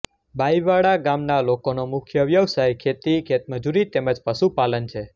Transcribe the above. બાઇવાડા ગામના લોકોનો મુખ્ય વ્યવસાય ખેતી ખેતમજૂરી તેમ જ પશુપાલન છે